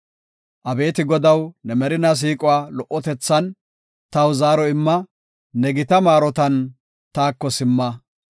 Abeeti Godaw, ne merina siiquwa lo77otethan, taw zaaro imma; ne gita maarotan taako simma.